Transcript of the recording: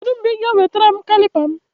Kedụ mgbe Ị ga ewetara m kalịpa m?